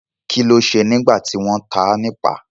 Kí ló ṣe nígbà tí wọ́n ta á nipa?